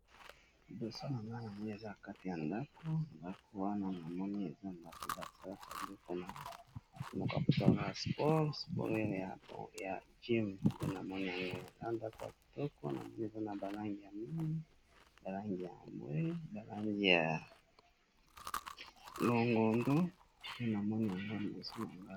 Elili tozali komona ezali bongo na kati ya ndaku, ndaku ezali esika oyo basalelaka sport